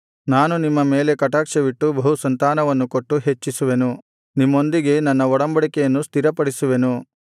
ನಾನು ನಿಮ್ಮ ಮೇಲೆ ಕಟಾಕ್ಷವಿಟ್ಟು ಬಹುಸಂತಾನವನ್ನು ಕೊಟ್ಟು ಹೆಚ್ಚಿಸುವೆನು ನಿಮ್ಮೊಂದಿಗೆ ನನ್ನ ಒಡಂಬಡಿಕೆಯನ್ನು ಸ್ಥಿರಪಡಿಸುವೆನು